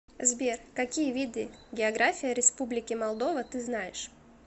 сбер какие виды география республики молдова ты знаешь